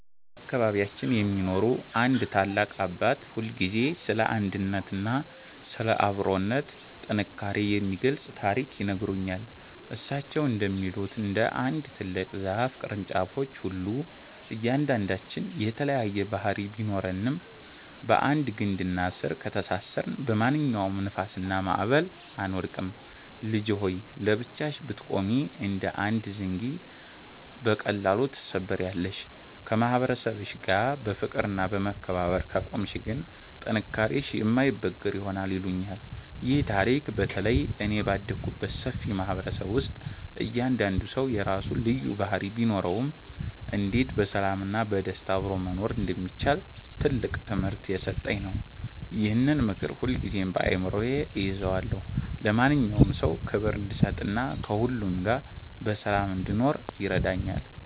በአካባቢያችን የሚኖሩ አንድ ታላቅ አባት ሁልጊዜ ስለ አንድነትና ስለ አብሮነት ጥንካሬ የሚገልጽ ታሪክ ይነግሩኛል። እሳቸው እንደሚሉት፣ እንደ አንድ ትልቅ ዛፍ ቅርንጫፎች ሁሉ እያንዳንዳችን የተለያየ ባህሪ ቢኖረንም፣ በአንድ ግንድና ስር ከተሳሰርን በማንኛውም ንፋስና ማዕበል አንወድቅም። "ልጄ ሆይ! ለብቻሽ ብትቆሚ እንደ አንድ ዘንጊ በቀላሉ ትሰበሪያለሽ፤ ከማህበረሰብሽ ጋር በፍቅርና በመከባበር ከቆምሽ ግን ጥንካሬሽ የማይበገር ይሆናል" ይሉኛል። ይህ ታሪክ በተለይ እኔ ባደግኩበት ሰፊ ማህበረሰብ ውስጥ እያንዳንዱ ሰው የራሱ ልዩ ባህሪ ቢኖረውም፣ እንዴት በሰላምና በደስታ አብሮ መኖር እንደሚቻል ትልቅ ትምህርት የሰጠኝ ነው። ይህንን ምክር ሁልጊዜም በአእምሮዬ እይዘዋለሁ፤ ለማንኛውም ሰው ክብር እንድሰጥና ከሁሉ ጋር በሰላም እንድኖርም ይረዳኛል።